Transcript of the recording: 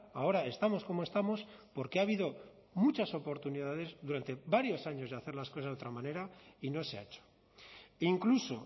ahora estamos como estamos porque ha habido muchas oportunidades durante varios años de hacer las cosas de otra manera y no se ha hecho incluso